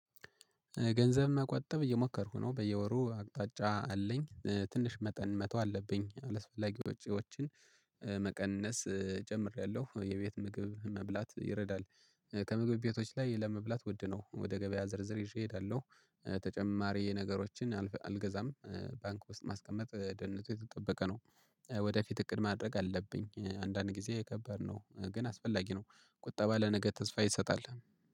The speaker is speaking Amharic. ገንዘብ መቆጠብ እየሞከርኩ ነው በየወሩ አቅጣጫ አለኝ ትንሽ መጠን መተው አለብኝ አላስፈላጊ ውጪዎችን መቀነስ ጀምሬያለሁ የቤት ምግብ መብላት ይረዳል። ከምግብ ቤቶች ላይ ለመብላት ውድ ነው ወደ ገበያ ዝርዝር ይዤ እሄዳለሁ። ተጨማሪ ነገሮችን አልገዛም ባንክ ውስጥ ማስቀመጥ ደህንነቱ የተጠበቀ ነው። ወደፊት እቅድ ማድረግ አለብኝ አንዳንድ ጊዜ ከበድነው ግን አስፈላጊ ነው። ቁጠባ ለነገ ተስፋ ይሰጣል።